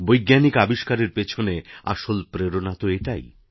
বৈজ্ঞানিক আবিষ্কারের পেছনে আসল প্রেরণাতো এটাই